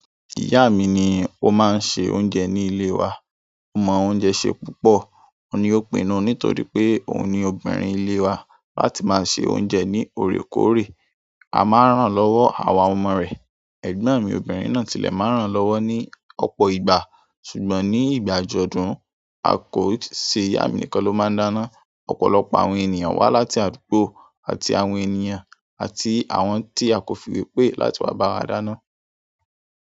Ìyá mi ni ó máa ń ṣe oúnjẹ ní ilé wa. Ó mọ oúnjẹ ṣe púpọ̀. Óun ní òpinnù nítorí pé òun ni obìnrin ilé wa láti máa ń se oúnjẹ ní òrékòrè. A máa ń ran lọ́wọ́, àwa ọmọ rẹ̀. Ẹ̀gbọ́n mi obìnrin náà tilẹ̀ máa ń ràn lọ́wọ́ ní ọ̀pọ̀ ìgbà. Ṣùgbọ́n ní ìgbàjọdùn, kò yi ṣe ìyá mi nìkan ló máa ń dáná. Ọ̀pọ̀lọpọ̀ àwọn ènìyàn wá láti àdúgbò àti àwọn ènìyàn àti àwọn tí a kò fi iwepé láti wá bá wa dáná.